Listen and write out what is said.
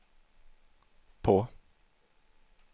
på